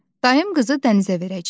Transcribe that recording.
Dayım qızı Dənizə verəcəyik.